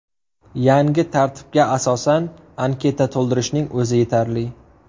Yangi tartibga asosan, anketa to‘ldirishning o‘zi yetarli.